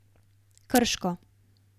Krško.